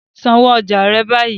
San owó ọjà rẹ báyìí.